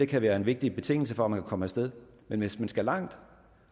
kan være en vigtig betingelse for at man kan komme af sted men hvis man skal langt